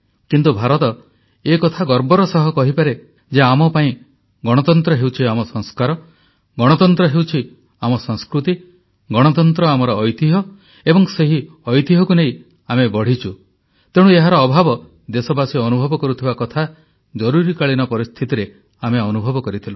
କିନ୍ତୁ ଭାରତ ଏ କଥା ଗର୍ବର ସହ କହିପାରେ ଯେ ଆମ ପାଇଁ ଗଣତନ୍ତ୍ର ହେଉଛି ଆମ ସଂସ୍କାର ଗଣତନ୍ତ୍ର ହେଉଛି ଆମ ସଂସ୍କୃତି ଗଣତନ୍ତ୍ର ଆମର ଐତିହ୍ୟ ଏବଂ ସେହି ଐତିହ୍ୟକୁ ନେଇ ଆମେ ବଢ଼ିଛୁ ତେଣୁ ଏହାର ଅଭାବ ଦେଶବାସୀ ଅନୁଭବ କରୁଥିବା କଥା ଜରୁରୀକାଳୀନ ପରିସ୍ଥିତିରେ ଆମେ ଅନୁଭବ କରିଥିଲୁ